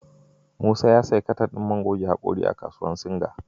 Musa ya sayi katan din man goge hakora a kasuwar Singa.